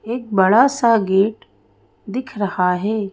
एक बड़ा सा गेट दिख रहा है।